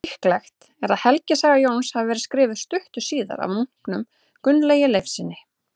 Líklegt er að helgisaga Jóns hafi verið skrifuð stuttu síðar af munknum Gunnlaugi Leifssyni.